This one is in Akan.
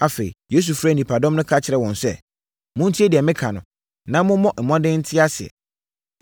Afei, Yesu frɛɛ nnipadɔm no ka kyerɛɛ wɔn sɛ, “Montie deɛ meka no na mommɔ mmɔden nte aseɛ.